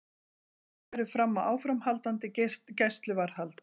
Farið verður fram á áframhaldandi gæsluvarðhald